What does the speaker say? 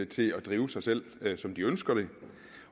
til at drive sig selv som de ønsker det